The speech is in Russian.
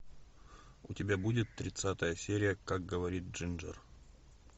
у тебя будет тридцатая серия как говорит джинджер